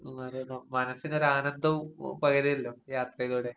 ഉം അതെയതെ. മനസ്സിനൊരാനന്ദവും ഉം പകരുവല്ലോ യാത്രയിലൂടെ.